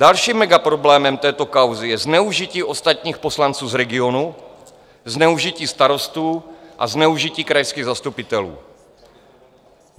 Dalším megaproblémem této kauzy je zneužití ostatních poslanců z regionu, zneužití starostů a zneužití krajských zastupitelů.